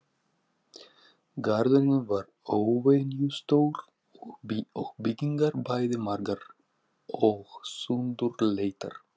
Garðurinn var óvenjustór og byggingar bæði margar og sundurleitar.